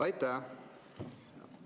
Aitäh!